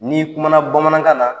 N'i kumana Bamanankan na